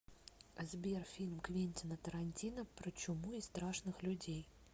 сбер фильм квентина тарантино про чуму и страшных людей